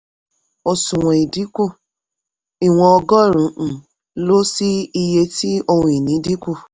òṣùwọ̀n ìdínkù: ìwọ̀n ọgọ́rùn-ún um lo sí iye tí ohun ìní dínkù.